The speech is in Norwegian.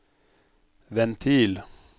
ventil